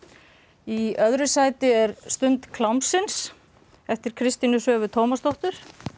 í öðru sæti er stund klámsins eftir Kristínu Svövu Tómasdóttur